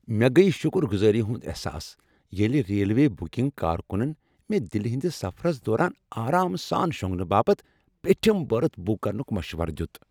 مےٚ گٔیۍ شکر گزٲری ہنٛد احساس ییٚلہِ ریلوے بکنگ کارکُنن مےٚ دِلہِ ہنٛدس سفرس دوران آرام سان شونگنہٕ باپتھ پیٚٹِھم بٔرتھ بُک کرنُک مشورٕ دِیُت۔